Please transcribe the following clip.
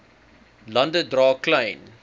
lande dra klein